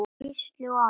Gísli og Anna.